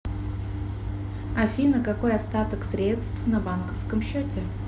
афина какой остаток средств на банковском счете